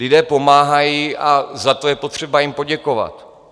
Lidé pomáhají a za to je potřeba jim poděkovat.